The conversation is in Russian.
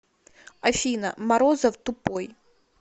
афина морозов тупой